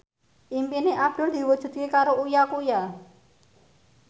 impine Abdul diwujudke karo Uya Kuya